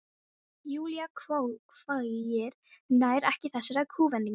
Júlía hváir, nær ekki þessari kúvendingu.